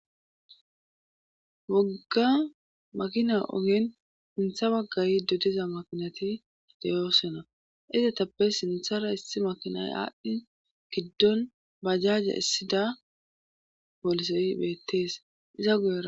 wogga makina ogen hintha waggay dodiza makinati deyoosonna izetappe sinthara issi makinay aadhdhi giddon bajaaje issida boolisey beettees iza guya.